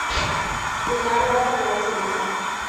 гульнара афанасьевна